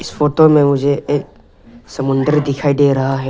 Photo में मुझे एक समुंदर दिखाई दे रहा है।